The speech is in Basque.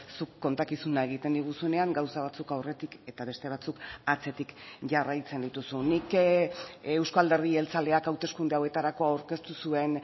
zuk kontakizuna egiten diguzunean gauza batzuk aurretik eta beste batzuk atzetik jarraitzen dituzu nik euzko alderdi jeltzaleak hauteskunde hauetarako aurkeztu zuen